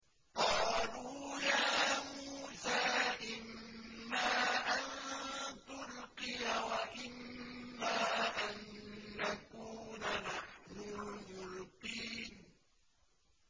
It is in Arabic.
قَالُوا يَا مُوسَىٰ إِمَّا أَن تُلْقِيَ وَإِمَّا أَن نَّكُونَ نَحْنُ الْمُلْقِينَ